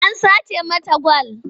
A sace mata gwal.